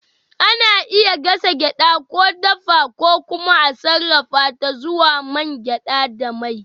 Ana iya gasa gyaɗa, ko dafa, ko kuma a sarrafa ta zuwa man gyada da mai.